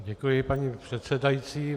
Děkuji, paní předsedající.